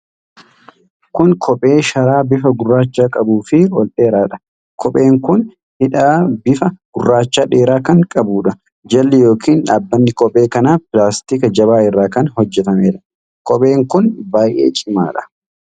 Kun kophee sharaa bifa gurraacha qabuufi ol dheeradha. Kopheen kun hidhaa bifa gurraacha dheeraa kan qabuudha. Jalli yookiin dhaabbani kophee kanaa pilaastika jabaa irraa kan hojjatameedha. Kopheen kun baay'ee cimaadha.